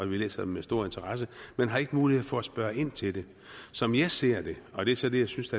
vi læser dem med stor interesse men har ikke mulighed for at spørge ind til det som jeg ser det og det er så det jeg synes